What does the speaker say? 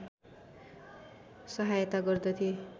सहायता गर्दथे